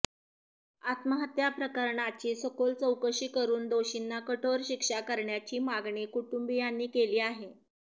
आत्महत्या प्रकरणाची सखोल चौकशी करून दोषींना कठोर शिक्षा करण्याची मागणी कुटुंबीयांनी केली आहे